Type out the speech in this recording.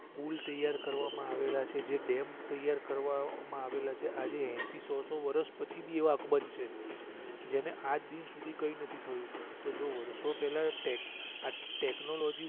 પુલ તૈયાર કરવા માં આવેલા છે જે ડેમ તૈયાર કરવા માં આવેલા છે આજે એસી સો સો વરશ પછી ભી એવા અકબંધ છે જેને આજદિન સુધી કઈ નથી થયું તો જો વર્ષો પેલા ટેક આ ટેકનોલોજી